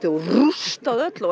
og rústað öllu